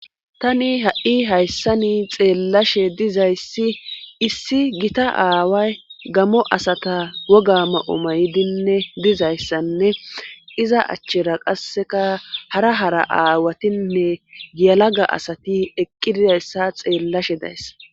tani ha7i hayssani xeellashe dizayssi issi gita aaway gamo asata woga ma7omaydinne dizayssanne iza achchera qasseka hara hara aawatinne giyalaga asati eqqi didayssa xeellashe dayssa